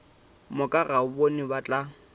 moka ga bona ba tla